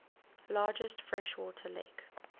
largest freshwater lake